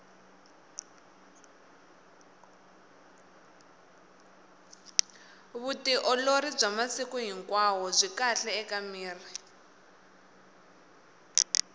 vutiolori bya masiku hinkwao byi kahle ka miri